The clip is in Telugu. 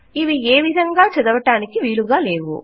ఇవి ఏ విధంగా చదవటానికి వీలుగా లేవు